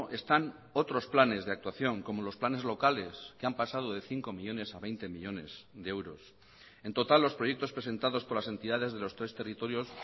están otros planes de actuación como los planes locales que han pasado de cinco millónes a veinte millónes de euros en total los proyectos presentados por las entidades de los tres territorios